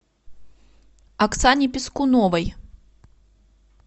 оксане пискуновой